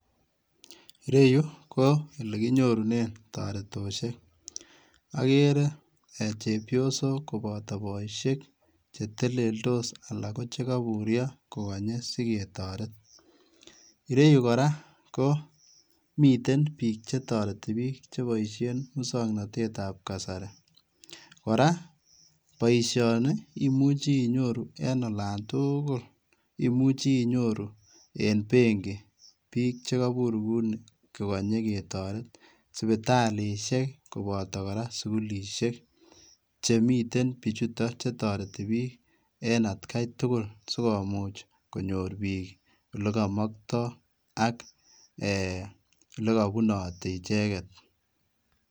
Ireyuu ko ole kinyorunen toretoshek, okere chepyosok koboto boishek cheteleldos anan ko chekoiburyo ko konyee siketoret ireyuu koraa ko miten bik chetoreti bik cheboishen muswoknotet ab kasari koraa boishoni ko imuche inyoru en olon tuukul imuche inyoru en benki bik che koibur ko uni kokonye ketoret, sipitalishek koboto kora sukulishek chemiten bijutok chetoreti bik en atgai tukul sikomuch konyor bik ole komokto ak ee ole kobunoti icheket.